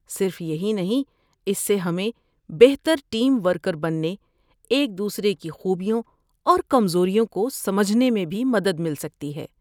صرف یہی نہیں، اس سے ہمیں بہتر ٹیم ورکر بننے، ایک دوسرے کی خوبیوں اور کمزوریوں کو سمجھنے میں بھی مدد مل سکتی ہے۔